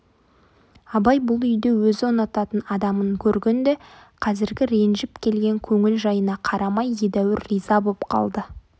абай бұл үйде өзі ұнататын адамын көргенде қазіргі ренжіп келген көңіл жайына қарамай едәуір риза боп қалды